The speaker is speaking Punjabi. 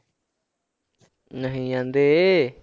ਨਹੀਂ ਜਾਂਦੇ।